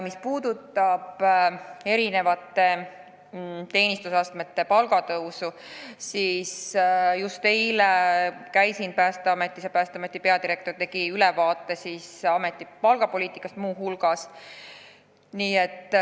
Mis puudutab palga tõusu eri teenistusastmetel, siis just eile ma käisin Päästeametis ja Päästeameti peadirektor andis mulle muu hulgas ülevaate ameti palgapoliitikast.